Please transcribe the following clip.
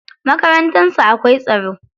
Makarantar su akwai tsaro.